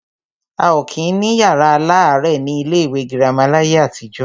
A ò kí ń ní yàrá aláàrẹ̀ ní ilé ìwé girama láyé àtijọ́.